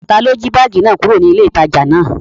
Taló jí báàgì náà kúrò ní ilé ìtajà náà?